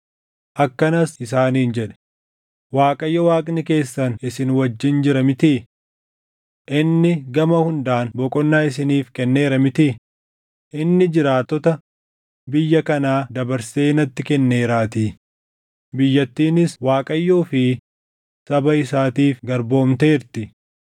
Akkanas isaaniin jedhe; “ Waaqayyo Waaqni keessan isin wajjin jira mitii? Inni gama hundaan boqonnaa isiniif kenneera mitii? Inni jiraattota biyya kanaa dabarsee natti kenneeraatii; biyyattiinis Waaqayyoo fi saba isaatiif garboomteerti.